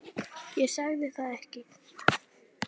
Ég sagði það ekki.